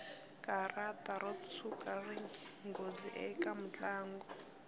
karata ro tshuka rini nghozi eka mutlangi